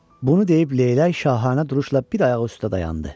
Bunu deyib leylək şahanə duruşla bir ayağı üstə dayandı.